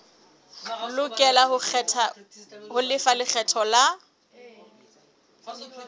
lokela ho lefa lekgetho la